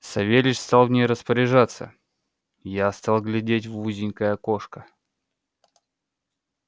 савельич стал в ней распоряжаться я стал глядеть в узенькое окошко